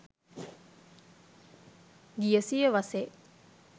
ගිය සියවසේ